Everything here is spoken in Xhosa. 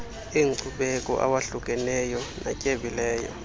enkcubeko awohlukeneyo natyebileyo